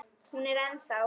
Hún er ennþá.